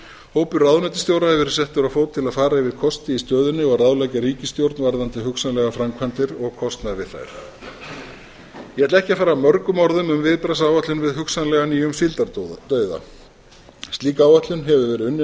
hópur ráðuneytisstjóra hefur verið settur á fót til að fara yfir kosti í stöðunni og ráðleggja ríkisstjórn varðandi hugsanlegar framkvæmdir og kostnað við þær ég ætla ekki að fara mörgum orðum um viðbragðsáætlun við hugsanlega nýjum síldardauða slík áætlun hefur verið unnin af